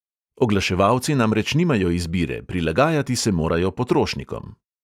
Oglaševalci namreč nimajo izbire: prilagajati se morajo potrošnikom.